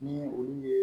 Ni olu ye